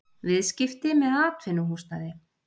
Viðskipti með atvinnuhúsnæði